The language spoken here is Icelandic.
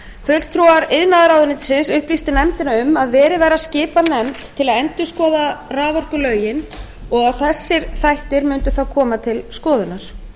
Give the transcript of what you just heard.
fulltrúar iðnaðarráðuneytisins upplýstu nefndina um að verið væri að skipa nefnd til að endurskoða raforkulögin og að þessir þættir mundu þá koma til skoðunar